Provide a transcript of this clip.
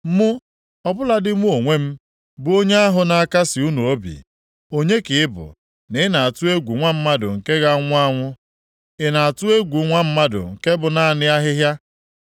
“Mụ, ọ bụladị mụ onwe m, bụ Onye ahụ na-akasị unu obi. Onye ka ị bụ, na ị na-atụ egwu nwa mmadụ nke ga-anwụ anwụ, ị na-atụ egwu nwa mmadụ nke bụ naanị ahịhịa,